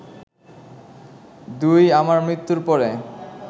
২ আমার মৃত্যুর পরে